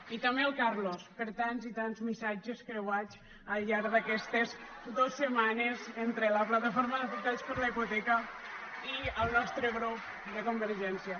i també al carlos per tants i tants missatges creuats al llarg d’aquestes dos setmanes entre la plataforma d’afectats per la hipoteca i el nostre grup de convergència